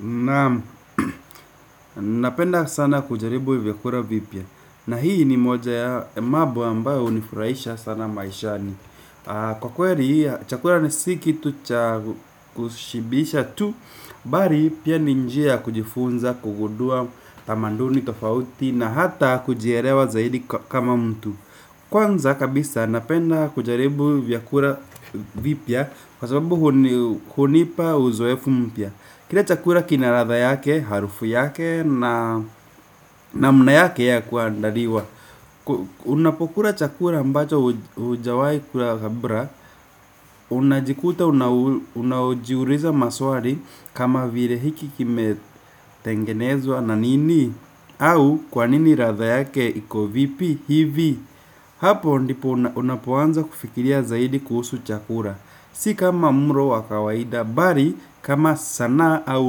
Naam, napenda sana kujaribu vyakula vipya. Na hii ni moja ya mambo ambayo hunifurahisha sana maishani, kwa kweli chakula ni si kitu cha kushibisha tu bali pia ni njia kujifunza kugundua tamaduni tofauti na hata kujielewa zaidi kama mtu. Kwanza kabisa napenda kujaribu vyakula vipya kwa sababu hunipa uzoefu mpya. Kila chakula kina ladha yake, harufu yake na namna yake ya kuandaliwa. Unapokula chakula ambacho hujawahi kula kabla. Unajikuta una unajiuliza maswali kama vile hiki kimetengenezwa na nini. Au kwa nini latha yake iko vipi hivi. Hapo ndipo unapoanza kufikiria zaidi kuhusu chakula. Si kama mlo wa kawaida, bali kama sanaa au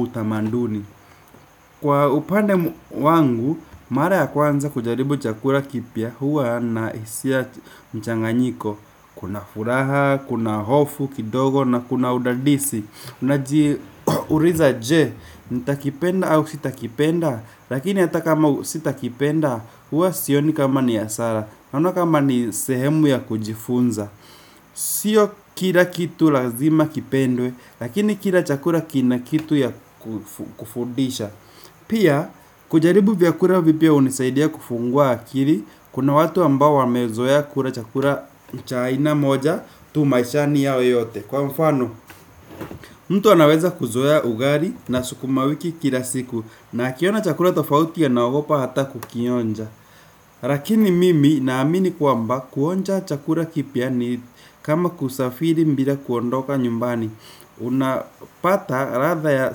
utamaduni. Kwa upande wangu, mara ya kwanza kujaribu chakula kipya huwa nahisia mchanganyiko. Kuna furaha, kuna hofu kidogo na kuna udadisi. Unaji uliza je, nitakipenda au sitakipenda. Lakini hata kama sitakipenda huwa sioni kama ni hasara. Kama ni sehemu ya kujifunza sio kila kitu lazima kipendwe lakini kila chakula kina kitu ya kufundisha. Pia, kujaribu vyakula vipya hunisaidia kufungua akili kuna watu ambao wamezoea kula chakula cha aina moja tu maishani yao yote kwa mfano mtu anaweza kuzoea ugali na sukuma wiki kila siku, na akiona chakula tofauti anaogopa hata kukionja. Lakini mimi naamini kwamba kuonja chakula kipya ni kama kusafiri bila kuondoka nyumbani. Unapata latha ya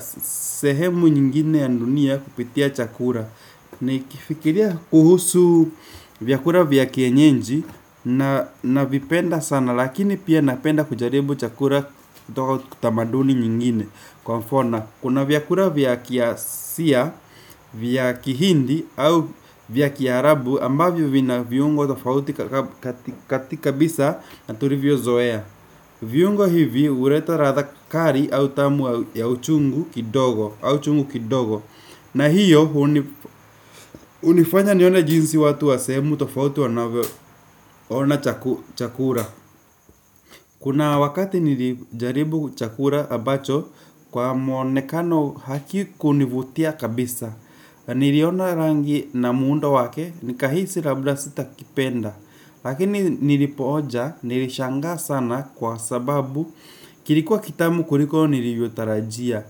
sehemu nyingine ya dunia kupitia chakula. Nikifikiria kuhusu vyakula vya kienyeji navipenda sana. Lakini pia napenda kujaribu chakula toka tamaduni nyingine. Kwa mfona kuna vyakula vya kiasia, vya kihindi au vya kiarabu ambavyo vina viungo tofauti katika bisa tulivyozoea. Viungo hivi huleta ladha kali au tamu ya uchungu kidogo. Na hiyo hunifanya nione jinsi watu wa sehemu tofauti wanavyo ona chakula. Kuna wakati nilijaribu chakula ambacho kwa muonekano hakikunivutia kabisa. Niliona rangi na muundo wake nikahisi labda sitakipenda. Lakini nilipoonja nilishangaa sana kwa sababu kilikuwa kitamu kuliko nilivyotarajia.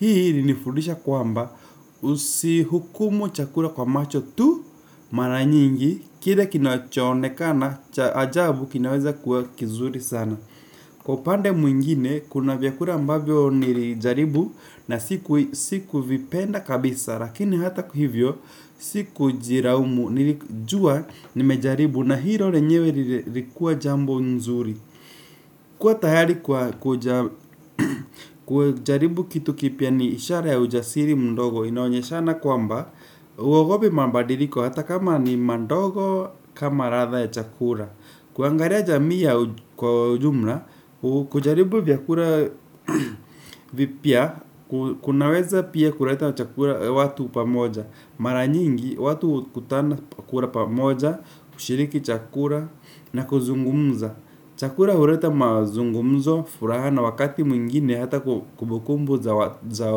Hii ilinifudisha kwamba usihukumu chakula kwa macho tu mara nyingi kile kinacho onekana cha ajabu kinaweza kuwa kizuri sana. Kwa upande mwingine kuna vyakula ambavyo nilijaribu na siku siku vipenda kabisa lakini hata hivyo sikujilaumu nilijua nimejaribu na hilo lenyewe lilikuwa jambo nzuri kuwa tayari kujaribu kitu kipya ni ishara ya ujasiri mdogo, inaonyeshana kwamba huogopi mabadiliko hata kama ni madogo kama ladha ya chakula. Kuangalia jamii ya kwa jumla, kujaribu vyakula vipya kunaweza pia kuleta chakula watu pamoja. Mara nyingi, watu hukutana kula pamoja, kushiriki chakula na kuzungumza. Chakula huleta mazungumzo, furaha na wakati mwingine hata kumbukumbu za za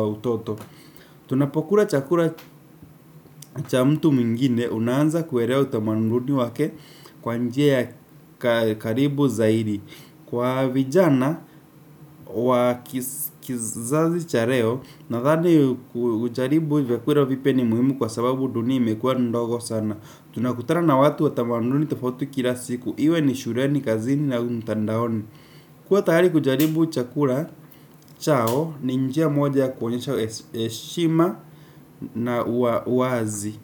utoto. Tunapokula chakula cha mtu mwingine, unaanza kuelewa utamaduni wake kwa njia ya karibu zaidi. Kwa vijana wa kizazi cha leo nadhani kujaribu vyakula vipya ni muhimu kwa sababu dunia imekuwa ndogo sana. Tunakutana na watu wa tamaduni tofauti kila siku iwe ni shuleni, kazini na au mtandaoni. Kuwa tayari kujaribu chakula chao ni njia moja ya kuonyesha heshima na uwazi.